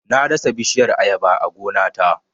Na dasa bishiyar Ayaba a gona ta